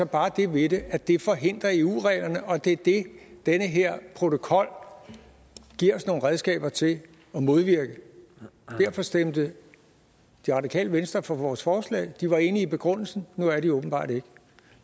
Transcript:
bare det ved det at det forhindrer eu reglerne og det er det den her protokol giver os nogle redskaber til at modvirke derfor stemte det radikale venstre for vores forslag de var enige i begrundelsen nu er de åbenbart ikke